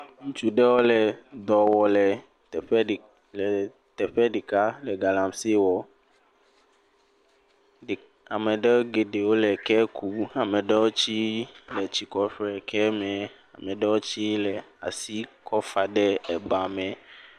Ŋutsu ɖewo le dɔ wɔ le teƒe ɖi le teƒe ɖeka le galamsee wɔ, ɖe, ame ɖewo geɖewo le ke kum. Ame ɖewo tsii etsi ku ƒo ɖe ekeɛ me. Ame ɖewo tsii kɔ asi kɔfa ɖe ebame.